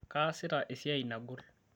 kaasita esiai nagol